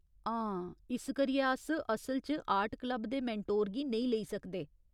हां, इस करियै अस असल च आर्ट क्लब दे मेंटोर गी नेईं लेई सकदे।